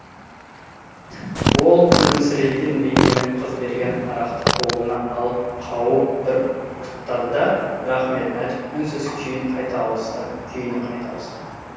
ол күлімсіреген бейнемен қыз берген арақты қолына алып қауып бір ұрттады да рахметін айтып үнсіз күйіне қайта ауысты